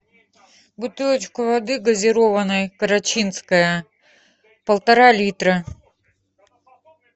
бутылочку воды газированной карачинская полтора литра